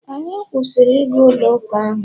anyị kwụsịrị ịga ụlọ uka ahụ